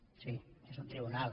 sí és un tribunal